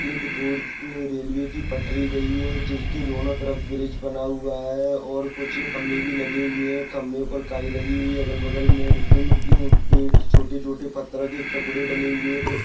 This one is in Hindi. एक रोड मे रेलवे की पठरी गए है जिसके दोनों तरफ ब्रिज बना हुआ है और कुछ खंबे भी लगी हुए है खंबे पर काई लगी हुई है। अगल बगल मे छोटे छोटे पत्थरो के टुकड़े डले हुए है।